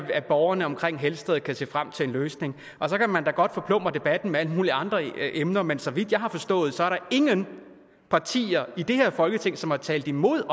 borgerne omkring helsted kan se frem til en løsning og så kan man da godt forplumre debatten med alle mulige andre emner men så vidt jeg har forstået er der ingen partier i det her folketing som har talt imod